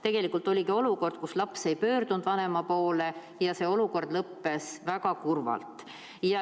Tegelikult oligi olukord selline, et laps ei pöördunud vanema poole ja see olukord lõppes väga kurvalt.